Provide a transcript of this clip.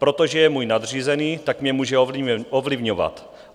Protože je můj nadřízený, tak mě může ovlivňovat.